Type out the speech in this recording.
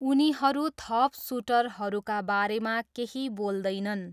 उनीहरू थप सुटरहरूका बारेमा केही बोल्दैनन्।